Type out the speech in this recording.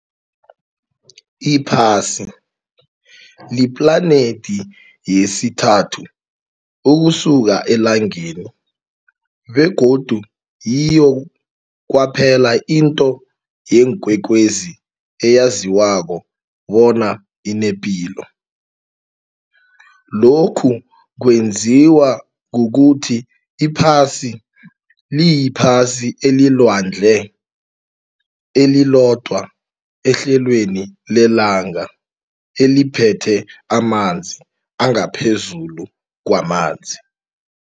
Iphasi liplanethi yesithathu ukusuka eLangeni begodu yiyo kwaphela into yeenkwekwezi eyaziwako bona inepilo. Lokhu kwenziwa kukuthi iPhasi liyiphasi elilwandle, elilodwa ehlelweni lelanga eliphethe amanzi angaphezulu kwamanzi.